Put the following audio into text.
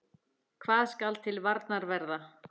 Hvað skal til varnar verða?